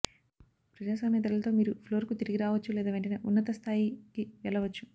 ప్రజాస్వామ్య ధరలతో మీరు ఫ్లోర్కు తిరిగి రావచ్చు లేదా వెంటనే ఉన్నతస్థాయికి వెళ్లవచ్చు